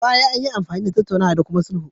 A baya, anyi amfani da tattaunawa da kuma sulhu